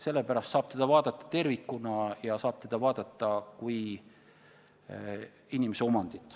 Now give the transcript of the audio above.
Sellepärast saab seda osakut vaadata tervikuna ja vaadata kui inimese omandit.